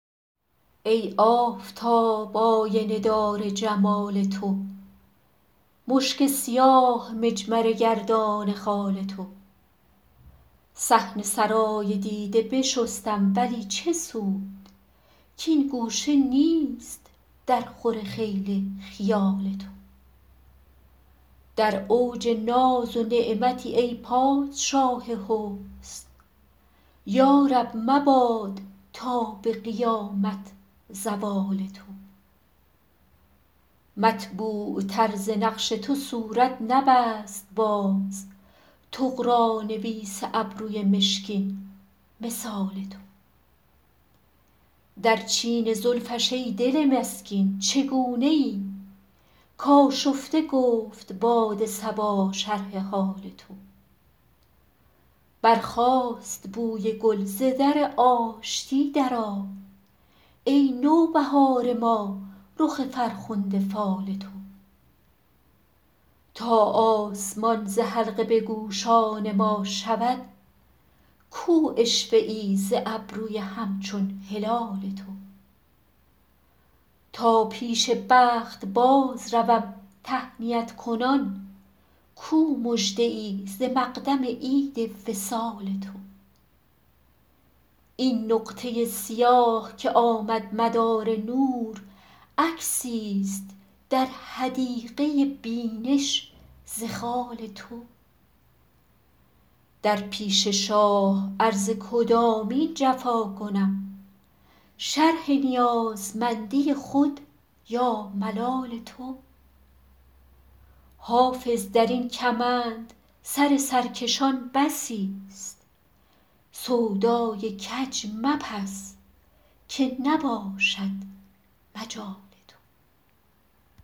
ای آفتاب آینه دار جمال تو مشک سیاه مجمره گردان خال تو صحن سرای دیده بشستم ولی چه سود کـ این گوشه نیست درخور خیل خیال تو در اوج ناز و نعمتی ای پادشاه حسن یا رب مباد تا به قیامت زوال تو مطبوعتر ز نقش تو صورت نبست باز طغرانویس ابروی مشکین مثال تو در چین زلفش ای دل مسکین چگونه ای کآشفته گفت باد صبا شرح حال تو برخاست بوی گل ز در آشتی درآی ای نوبهار ما رخ فرخنده فال تو تا آسمان ز حلقه به گوشان ما شود کو عشوه ای ز ابروی همچون هلال تو تا پیش بخت بازروم تهنیت کنان کو مژده ای ز مقدم عید وصال تو این نقطه سیاه که آمد مدار نور عکسیست در حدیقه بینش ز خال تو در پیش شاه عرض کدامین جفا کنم شرح نیازمندی خود یا ملال تو حافظ در این کمند سر سرکشان بسیست سودای کج مپز که نباشد مجال تو